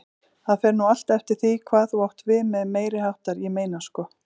Það fer nú allt eftir því hvað þú átt við með meiriháttar, ég meina sko.